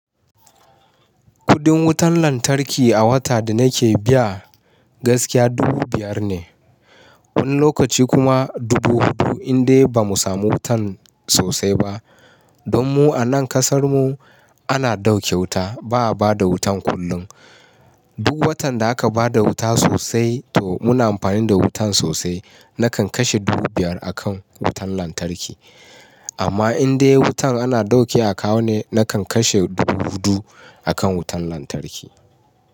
Kudin wutan lantarki a wata da nake biya gaskiya dubu biyar ne. Wani lokaci kuma dubu hudu in dai bamu samu wutan sosai ba. Don mu a nan kasar mu ana dauke wuta ba'a bada wutan kullum. Duk watan da aka bada wuta sosai to muna amfani da wutan sosai nakan kashe dubu biyar a kan wutan lantarki. Amma in dai wutan ana dauke a kawo ne nakan kashe dubu hudu a kan wutan lantarki.